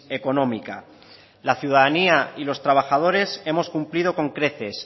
económica la ciudadanía y los trabajadores hemos cumplido con creces